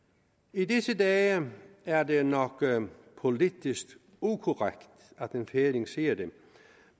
i disse dage er det nok politisk ukorrekt at en færing siger det